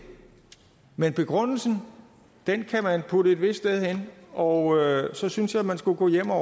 men begrundelsen kan man putte et vist sted hen og så synes jeg man skulle gå hjem og